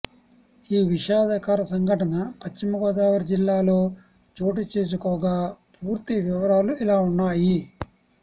ఈ విషాదకర సంఘటన పశ్చిమగోదావరి జిల్లాలో చోటుచేసుకోగా పూర్తి వివరాలు ఇలా ఉన్నాయి